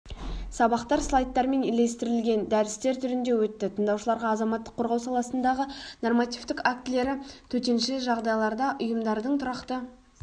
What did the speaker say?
сабақтар слайдтармен ілестірілген дәрістер түрінде өтті тыңдаушыларға азаматтық қорғау саласындағы нормативтік актілері төтенше жағдайларда ұйымдардың тұрақты